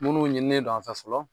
Munnu ɲininnen don an fɛ fɔlɔ